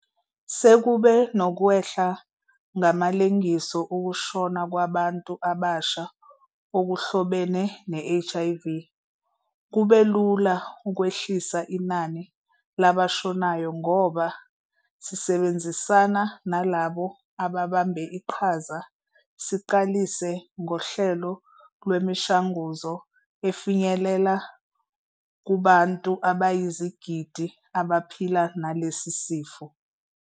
Sekube nokwehla ngamalengiso ukushona kwabantu abasha okuhlobene ne-HIV. Kube lula ukwehlisa inani labashonayo ngoba, sisebenzisana nalabo ababambe iqhaza, siqalise ngohlelo lwemishanguzo efinyelela kubantu abayizigidi abaphila nalesi sifo.